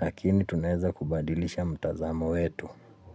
lakini tunaweza kubadilisha mtazamo wetu.